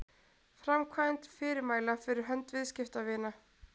framkvæmd fyrirmæla fyrir hönd viðskiptavina